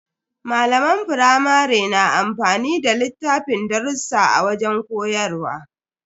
Malaman firamare na amfani da littafin darrusa a wajen koyarwa.